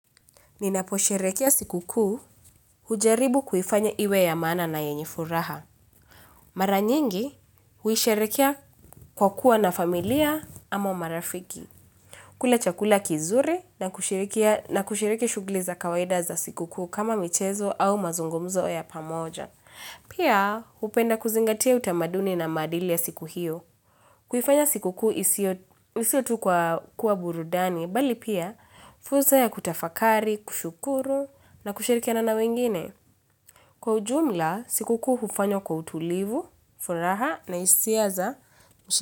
Ninaposherekea sikukuu hujaribu kuifanya iwe ya maana na yenye furaha. Maranyingi huisherekea kwa kuwa na familia ama marafiki. Kula chakula kizuri na kushiriki shugli za kawaida za sikukuu kama michezo au mazungumzo ya pamoja. Pia hupenda kuzingatia utamaduni na amadili ya siku hiyo. Kuifanya sikukuu isiotu kwa burudani, bali pia, fursa ya kutafakari, kushukuru, na kushirikia na wengine. Kwa ujumla, sikukuu hufanywa kwa utulivu, furaha, na hisia za.